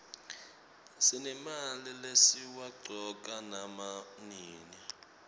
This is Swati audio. sinemalimi lesiwaqcoka nama nini